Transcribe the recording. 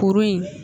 Kuru in